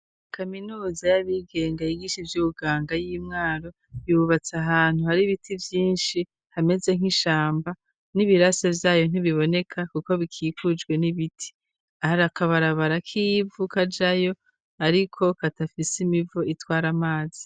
Kaminuza y'abigenga yigisha ivyo uganga y'imwaro yubatse ahantu hari ibiti vyinshi hameze nk'ishamba n'ibirase vyayo ntibiboneka, kuko bikikujwe n'ibiti aharakabarabara kivu kajayo , ariko katafise imivo itwara amazi.